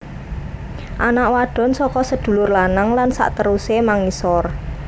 Anak wadon saka sedulur lanang lan sakterusé mangisor